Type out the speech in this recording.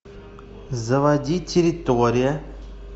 заводи территория